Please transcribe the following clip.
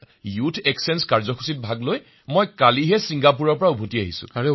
শ্ৰী হৰি জি বিঃ মহাশয় কালি মই ইয়ুথ এক্সচেঞ্জ প্ৰগ্ৰাম ছিংগাপুৰৰ পৰা উভতি আহি পাইছোহি